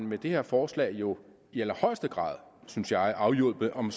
med det her forslag jo i allerhøjeste grad synes jeg afhjulpet om